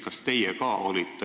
Kas ka teie olite siis juhatuses?